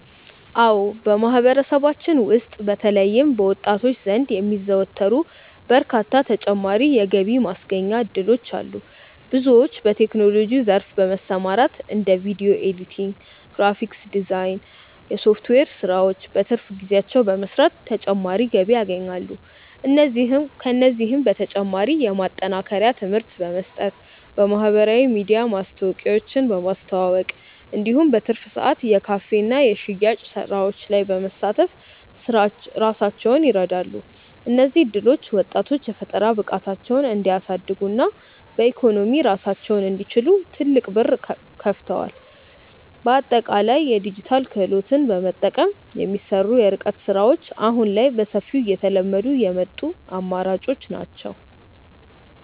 አዎ በማህበረሰባችን ውስጥ በተለይም በወጣቶች ዘንድ የሚዘወተሩ በርካታ ተጨማሪ የገቢ ማስገኛ እድሎች አሉ። ብዙዎች በቴክኖሎጂው ዘርፍ በመሰማራት እንደ ቪዲዮ ኤዲቲንግ፣ ግራፊክስ ዲዛይን እና የሶፍትዌር ስራዎችን በትርፍ ጊዜያቸው በመስራት ተጨማሪ ገቢ ያገኛሉ። ከእነዚህም በተጨማሪ የማጠናከሪያ ትምህርት በመስጠት፣ በማህበራዊ ሚዲያ ማስታወቂያዎችን በማስተዋወቅ እንዲሁም በትርፍ ሰዓት የካፌና የሽያጭ ስራዎች ላይ በመሳተፍ ራሳቸውን ይረዳሉ። እነዚህ እድሎች ወጣቶች የፈጠራ ብቃታቸውን እንዲያሳድጉና በኢኮኖሚ ራሳቸውን እንዲችሉ ትልቅ በር ከፍተዋል። በአጠቃላይ የዲጂታል ክህሎትን በመጠቀም የሚሰሩ የርቀት ስራዎች አሁን ላይ በሰፊው እየተለመዱ የመጡ አማራጮች ናቸው።